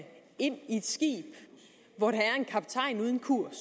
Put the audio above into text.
en kaptajn uden kurs